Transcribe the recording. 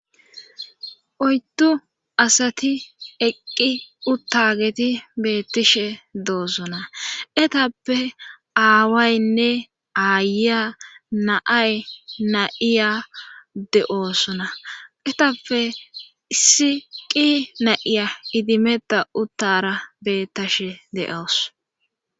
oyddu asati eqqi uttageti beettishe doosona etappe aawaynne aaya naay na7iya de7oosona etappe issi qi na7iya idimeda uttara bettashe de7awus